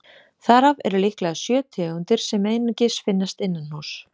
Þar af eru líklega sjö tegundir sem einungis finnast innanhúss.